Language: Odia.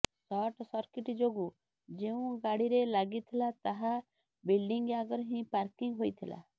ସର୍ଟ ସର୍କିଟ ଯୋଗୁଁ ଯେଉଁ ଗାଡିରେ ଲାଗିଥିଲା ତାହା ବିଲ୍ଡିଂ ଆଗରେ ହିଁ ପାର୍କିଂ ହୋଇଥିଲା